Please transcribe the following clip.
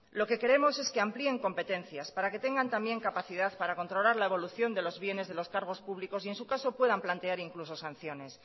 lo que queremos es que amplíen competencias para que tengan también capacidad para controlar la evolución de los bienes de los cargos públicos y en su caso puedan plantear incluso sanciones